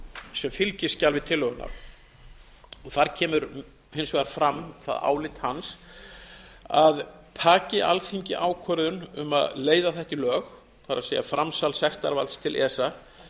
sem fylgiskjal við tillöguna þar kemur hins vegar fram það álit hans að taki alþingi ákvörðun um að leiða þetta í lög það er framsal sektarvalds til esa